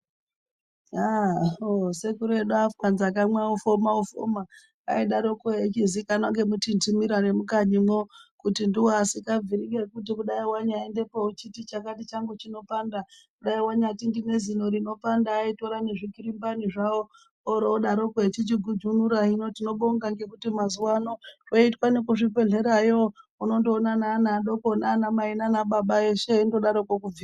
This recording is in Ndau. Yaa..hoo sekuru edu afanza kamwe ofoma ofoma aidaroko echizikanwa ngemutinhimira nemukanyimwo kuti ndiwo asikabviri ngekuti kudai wanyaendepo uchiti chakati changu chinopanda dai wanyati ndine zino rinopanda aitora nezvikirimbani zvawo oroodaroko echigujunura hino tinobonga ngekuti mazuwa ano zvoitwa nekuzvibhehlera yo unondoona neana adoko nanamai nanababa eshe eindodaroko.....